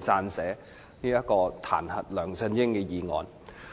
撰寫彈劾梁振英的議案。